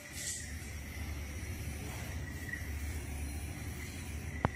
покажи мне фильм девственницы самоубийцы